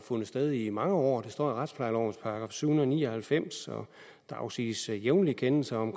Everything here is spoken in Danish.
fundet sted i mange år det står i retsplejelovens § syv hundrede og ni og halvfems og der afsiges jævnligt kendelser om